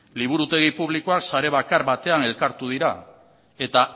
liburutegi publikoak sare bakar batean elkartu dira eta